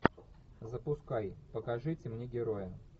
запускай покажите мне героя